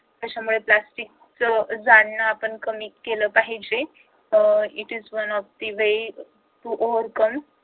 त्याच्यामुळे प्लास्टिकचा जाळन आपण कमी केले पाहिजे uh it is one of the way to overcome